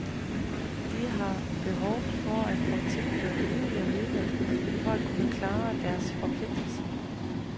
De har behov for at få tilført yderligere midler for at kunne klare deres forpligtelser.